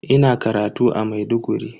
Ina karatu a Maiduguri.